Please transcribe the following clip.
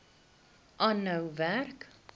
aanhou werk